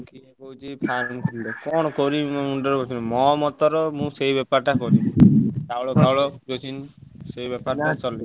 କିଏ କହୁଛି କଣ କରିବି ମୁଣ୍ଡ ରେ ପଶୁନି ମୋ ମଟ ରେ ମୁଁ ସେଇ ବେପାର କରିବି ଚାଉଳ, ଫାଉଳ, କିରାସିନ ସେଇ ବେପାର ଚଳେଇବି।